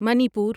Manipur